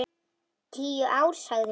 Tíu ár, sagði hún.